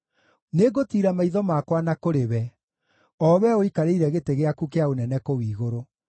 Nĩngũtiira maitho makwa na kũrĩ we, o Wee ũikarĩire gĩtĩ gĩaku kĩa ũnene kũu igũrũ.